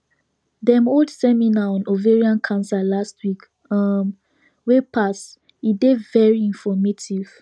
dem hold seminar on ovarian cancer last week um wey pass e dey very informative